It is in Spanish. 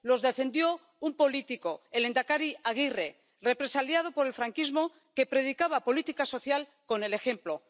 Los defendió un político, el lehendakari Aguirre, represaliado por el franquismo, que predicaba política social con el ejemplo.